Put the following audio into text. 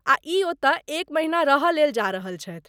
आ ई ओतय एक महिना रहयलेल जा रहल छथि।